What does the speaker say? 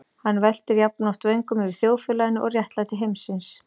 Hann veltir jafnoft vöngum yfir þjóðfélaginu og réttlæti heimsins.